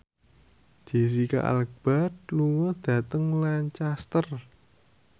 Jesicca Alba lunga dhateng Lancaster